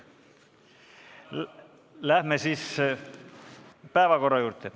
Läheme siis päevakorra juurde.